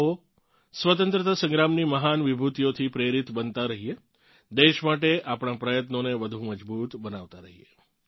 આવો સ્વતંત્રતા સંગ્રામની મહાન વિભૂતીઓથી પ્રેરીત બનતાં રહીએ દેશ માટે આપણાં પ્રયત્નોને વધું મજબૂત બનાવતાં રહીએ